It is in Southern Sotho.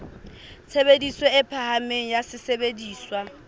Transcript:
tshebediso e phahameng ya sesebediswa